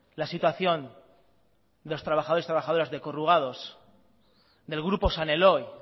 la situación de lo trabajadores y trabajadoras de corrugados del grupo san eloy